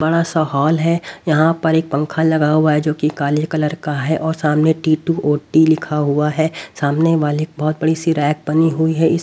बड़ा सा हॉल है यहां पर एक पंखा लगा हुआ है जो कि काले कलर का है और सामने टी टु ओ टी लिखा हुआ है सामने वाले बहोत बड़ी सी रैक बनी हुई है इस--